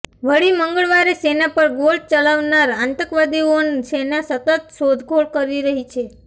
વળી મંગળવારે સેના પર ગોળ ચલાવનાર આતંકવાદીઓન સેના સતત શોધખોળ કરી રહી છે